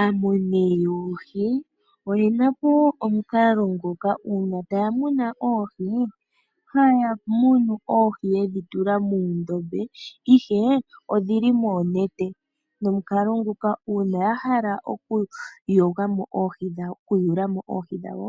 Aamuni yoohi oye na po wo omukalo ngoka uuna taya muna oohi haya munu oohi yedhi tula muundombe, ihe odhi li moonete nomukalo nguka uuna ya hala oohi dhawo